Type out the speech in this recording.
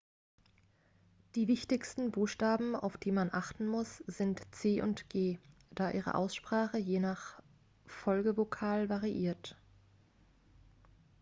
die wichtigsten buchstaben auf die man achten muss sind c und g da ihre aussprache je nach folgevokal variiert